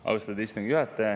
Austatud istungi juhataja!